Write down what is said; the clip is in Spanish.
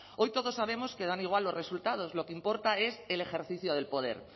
hoy todos sabemos que dan igual los resultados lo que importa es el ejercicio del poder